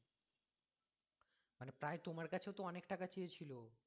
মানে প্রায় তোমার কাছেও তো অনেক টাকা চেয়েছিলো